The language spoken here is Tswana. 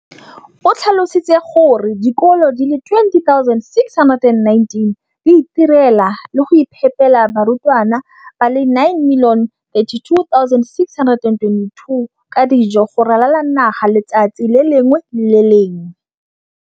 o tlhalositse gore dikolo di le 20 619 di itirela le go iphepela barutwana ba le 9 032 622 ka dijo go ralala naga letsatsi le lengwe le le lengwe.